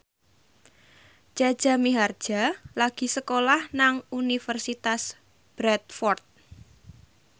Jaja Mihardja lagi sekolah nang Universitas Bradford